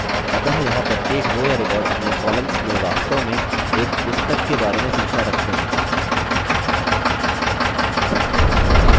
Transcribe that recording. अतः यहाँ प्रत्येक row या record अपने columns में वास्तव में एक पुस्तक के बारे में सूचना रखते हैं